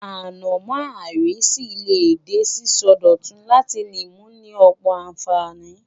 Ànàmó áiriṣì le de síso dòtun láti ni mu ni ọ̀pọ̀ ànfàní